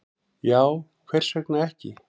Já, hvers vegna ekki?